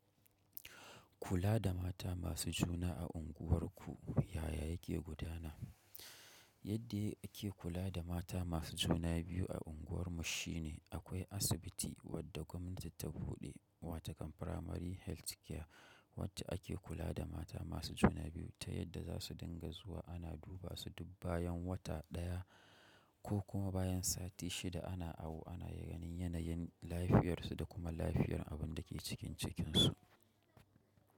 Kula da mata masu juna a unguwarka yaya yake gudana yadda yake kula da mata masu juna biyu a unguwarmu shine akwai asibiti wadda gwamnati ta buɗe wa takon primary health care wadda ake kula da mata masu juna biyu ta yadda za su dinga zuwa ana duba su duk bayan wata daya ko kuma bayan sati shida ana awo ana ganin yanayin lafiyarsu da kuma lafiyar abin da ke cikin cikinsu.